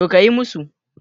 To, kayi musu